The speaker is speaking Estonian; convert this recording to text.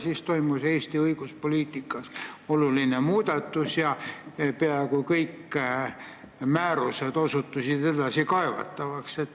Siis toimus Eesti õiguspoliitikas oluline muudatus ja peaaegu kõik määrused osutusid edasikaevatavaks.